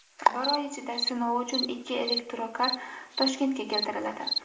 Bir oy ichida sinov uchun ikki elektrokar Toshkentga keltiriladi.